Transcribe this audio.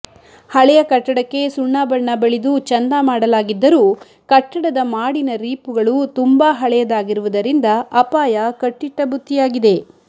ಹಳೇಯ ಕಟ್ಟಡಕ್ಕೆ ಸುಣ್ಣಬಣ್ಣ ಬಳಿದು ಚೆಂದ ಮಾಡಲಾಗಿದ್ದರೂ ಕಟ್ಟಡದ ಮಾಡಿನ ರೀಪುಗಳು ತುಂಬಾ ಹಳೇಯದಾಗಿರುವುದರಿಂದ ಅಪಾಯ ಕಟ್ಟಿಟ್ಟ ಬುತ್ತಿಯಾಗಿದೆ